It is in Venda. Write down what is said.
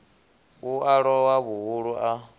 u a lowa vhuhulu a